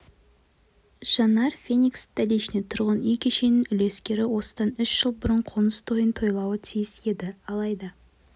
жанар феникс-столичный тұрғын үй кешенінің үлескері осыдан үш жыл бұрын қоныс тойын тойлауы тиіс еді алайда